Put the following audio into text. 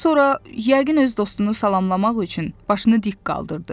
Sonra, yəqin öz dostunu salamlamaq üçün başını dik qaldırdı.